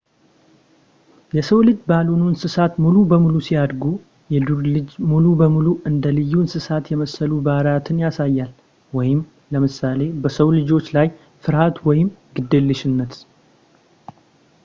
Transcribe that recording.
የሰው-ልጅ ባልሆኑ እንስሳት ሙሉ በሙሉ ሲያድጉ ፣ የዱር ልጅ ሙሉ በሙሉ እንደ ልዩ እንሰሳት የመሰሉ ባህሪያትን ያሳያል ለምሳሌ በሰው ልጆች ላይ ፍርሃት ወይም ግዴለሽነት